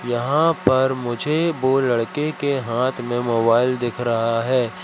यहां पर मुझे वो लड़के के हाथ में मोबाइल दिख रहा है।